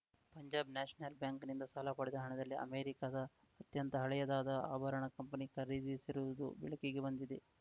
Punjab national ಬ್ಯಾಂಕಿನಿಂದ ಸಾಲ ಪಡೆದ ಹಣದಲ್ಲಿ ಅಮೆರಿಕಾದ ಅತ್ಯಂತ ಹಳೆಯದಾದ ಆಭರಣ ಕಂಪನಿ ಖರೀದಿಸಿರುವುದು ಬೆಳಕಿಗೆ ಬಂದಿದೆ